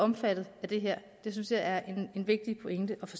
omfattet af det her det synes jeg er en vigtig pointe at få